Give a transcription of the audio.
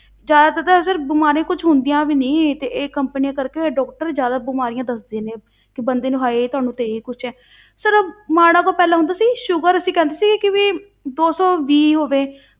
ਜ਼ਿਆਦਾਤਰ sir ਬਿਮਾਰੀਆਂ ਕੁਛ ਹੁੰਦੀਆਂ ਵੀ ਨੀ ਤੇ ਇਹ companies ਕਰਕੇ doctor ਜ਼ਿਆਦਾ ਬਿਮਾਰੀਆਂ ਦੱਸਦੇ ਨੇ, ਕਿ ਬੰਦੇ ਨੂੰ ਹਾਏ ਤੁਹਾਨੂੰ ਤੇ ਇਹ ਕੁਛ ਹੈ sir ਮਾੜਾ ਕੁ ਪਹਿਲਾਂ ਹੁੰਦਾ ਸੀ sugar ਅਸੀਂ ਕਹਿੰਦੇ ਸੀ ਕਿ ਵੀ ਦੋਸੌਵੀਹ ਹੋਵੇ